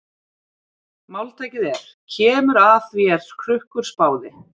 Máltækið er: Kemur að því er Krukkur spáði.